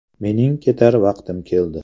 Mening ketar vaqtim keldi.